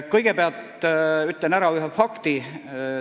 " Kõigepealt ütlen ühe fakti.